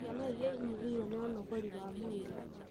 Ciana iria inyihĩrwo nĩ ũnogori wa mwĩrĩ,